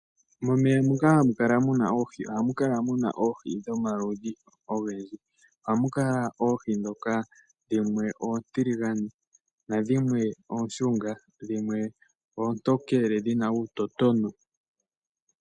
Momeya moka hamukala muna oohi ohamu kala muna oohi dhomaludhi ogendji. Ohamu kala oohi dhoka dhimwe oontiligane, nadhimwe ooshunga, dhimwe oontokele dhina uutotona.